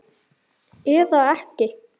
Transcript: Eða ekki!